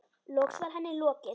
Loks var henni lokið.